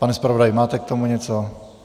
Pane zpravodaji, máte k tomu něco?